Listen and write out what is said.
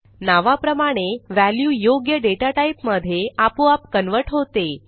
नावाप्रमाणे व्हॅल्यू योग्य डेटाटाईप मधे आपोआप कन्व्हर्ट होते